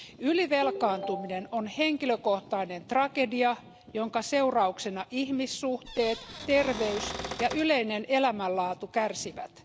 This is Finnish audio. Ylivelkaantuminen on henkilökohtainen tragedia, jonka seurauksena ihmissuhteet, terveys ja yleinen elämänlaatu kärsivät.